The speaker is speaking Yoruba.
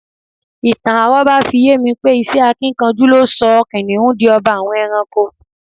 Ìtàn àró̩bá fi ye mi pé iṣẹ́ akínkanjú ló so̩ kìnìún di o̩ba àwo̩n e̩ranko